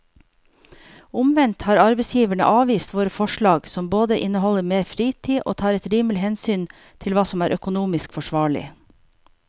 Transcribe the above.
Omvendt har arbeidsgiverne avvist våre forslag som både inneholder mer fritid og tar et rimelig hensyn til hva som er økonomisk forsvarlig.